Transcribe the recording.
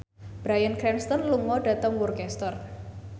Bryan Cranston lunga dhateng Worcester